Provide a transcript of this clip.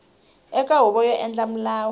eka huvo yo endla milawu